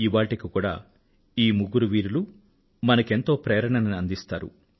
ఇవాళ్టికి కూడా ఈ ముగ్గురు వీరులూ మనకెంతో ప్రేరణను అందిస్తారు